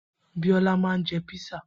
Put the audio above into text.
Biola ma ń jẹ́ písà